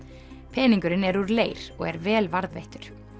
peningurinn er úr leir og er vel varðveittur